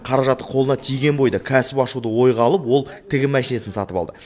қаражаты қолына тиген бойда кәсіп ашуды ойға алып ол тігін машинасын сатып алды